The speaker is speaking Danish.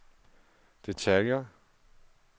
detaljer